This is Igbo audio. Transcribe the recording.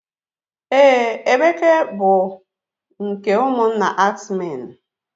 Ee, Emeke bụ nke ụmụnna ax men.